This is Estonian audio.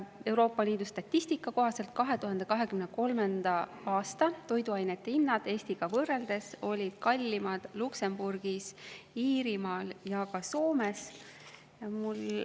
Euroopa Liidu statistika kohaselt olid 2023. aastal toiduainete hinnad Eestiga võrreldes kallimad Luksemburgis, Iirimaal ja ka Soomes.